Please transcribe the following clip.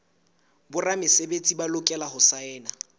boramesebetsi ba lokela ho saena